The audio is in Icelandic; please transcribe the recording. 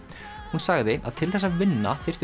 hún sagði að til þess að vinna þyrfti